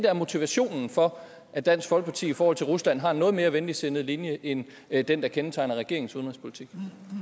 er motivationen for at dansk folkeparti i forhold til rusland har en noget mere venligsindet linje end end den der kendetegner regeringens udenrigspolitik